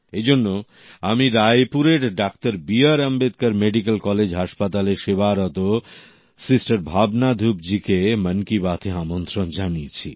এইজন্য আমি রায়পুরের ডাক্তার B R Ambedkar medical college হাসপাতালে সেবারত সিস্টার ভাবনা ধুপ জি কে মন কি বাতএ আমন্ত্রণ জানিয়েছি